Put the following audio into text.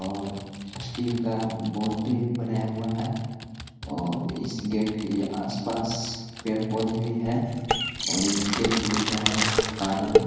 और स्टील का बाउंड्री भी बनाया हुआ है और इस गेट के आसपास पेड़-पोधे भी हैं और इस गेट पे लिखा है कानन--